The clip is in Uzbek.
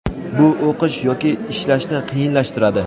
bu o‘qish yoki ishlashni qiyinlashtiradi.